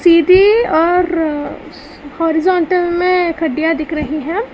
सीधी और होरिजोंटल में खड़िया दिख रही है।